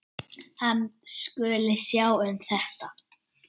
Hann skuli sjá um þetta.